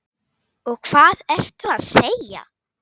Og hvað ertu að segja?